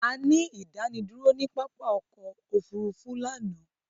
A ní ìdánidúró ni pápá ọkọ òfúrúúfú lánàá